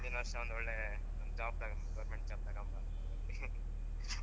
ಇನ್ನೊಂದು ವರ್ಷ ಒಳ್ಳೆ ಒಂದ್ job ತಗೋಂಬೆಕ್ government job ತಗೊಂಬಾ ಅಂತಾ